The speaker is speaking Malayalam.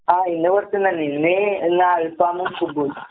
ആഹ് ഇന്ന് പൊറത്ത്ന്നന്നെ. ഇന്ന് ഇന്നൽഫാമും കുബൂസാ.